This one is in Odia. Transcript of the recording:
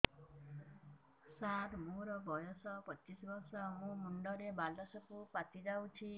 ସାର ମୋର ବୟସ ପଚିଶି ବର୍ଷ ମୋ ମୁଣ୍ଡରେ ବାଳ ସବୁ ପାଚି ଯାଉଛି